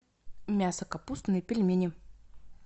мясо капустные пельмени